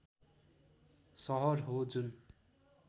सहर हो जुन